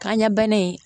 Kanɲɛ bana in